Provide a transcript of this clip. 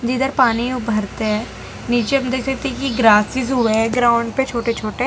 जिधर पानी उभरते हैं नीचे हम देखी कि ग्रासिस हो गया ग्राउंड पर छोटे छोटे --